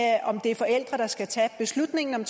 om det er forældrene der skal tage beslutningen om